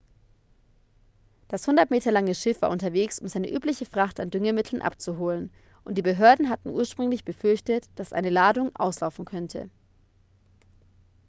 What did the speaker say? das 100 meter lange schiff war unterwegs um seine übliche fracht an düngemitteln abzuholen und die behörden hatten ursprünglich befürchtet dass eine ladung auslaufen könnte